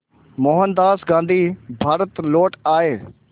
मोहनदास गांधी भारत लौट आए